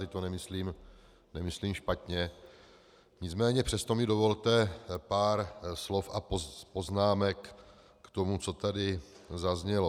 Teď to nemyslím špatně, nicméně přesto mi dovolte pár slov a poznámek k tomu, co tady zaznělo.